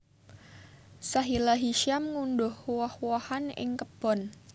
Sahila Hisyam ngundhuh woh wohan ing kebon